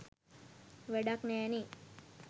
වැඩක් නෑනෙ.